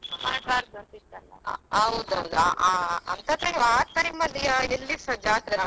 ಹೌದೌದು ಅ~ ಅಂತದ್ದು ಆ time ಅಲ್ಲಿ ಎಲ್ಲಿಸ ಜಾತ್ರೆ ಆಗ್ಲಿಲ್ಲ ಅದೊಂದು ಎರಡು ವರ್ಷ ಆದೆ.